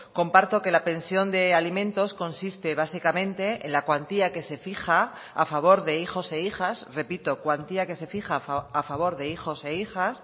comparto que la pensión de alimentos consiste básicamente en la cuantía que se fija a favor de hijos e hijas repito cuantía que se fija a favor de hijos e hijas